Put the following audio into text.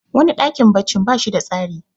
wani dakin baccin ba shi da tsari